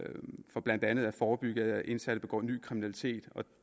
for blandt andet at forebygge at indsatte begår ny kriminalitet